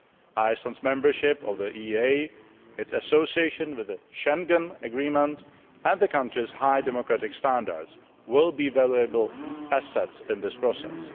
Iceland's membership of the EEA, its association with the Schengen Agreement, and the country's high democratic standards will be valuable assets in this process.